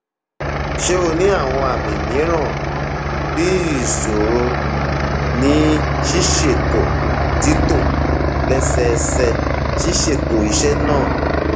ṣe o ni awọn àmì mìíràn bii iṣoro ní ṣíṣètò títò lẹsẹẹsẹ ṣíṣètò iṣẹ náà